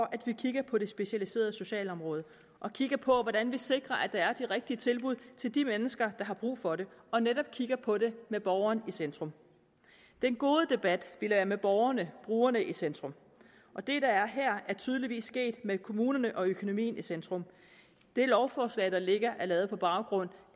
at vi kigger på det specialiserede socialområde og kigger på hvordan vi sikrer at der er de rigtige tilbud til de mennesker der har brug for det og netop kigger på det med borgeren i centrum den gode debat ville være med borgerne brugerne i centrum og det der er her er tydeligvis sket med kommunerne og økonomien i centrum det lovforslag der ligger er lavet på baggrund